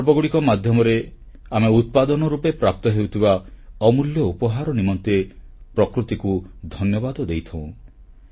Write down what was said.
ଏହି ପର୍ବଗୁଡ଼ିକ ମାଧ୍ୟମରେ ଆମେ ଉତ୍ପାଦନ ରୂପେ ପ୍ରାପ୍ତ ହେଉଥିବା ଅମୂଲ୍ୟ ଉପହାର ନିମନ୍ତେ ପ୍ରକୃତିକୁ ଧନ୍ୟବାଦ ଦେଇଥାଉ